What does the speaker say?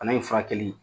Bana in furakɛli